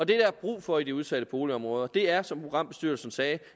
der er brug for i de udsatte boligområder er som programbestyrelsen sagde